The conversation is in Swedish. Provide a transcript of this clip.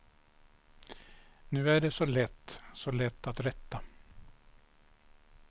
Nu är det så lätt, så lätt att rätta.